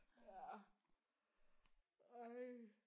Ja ej